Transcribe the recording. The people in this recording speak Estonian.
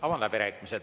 Avan läbirääkimised.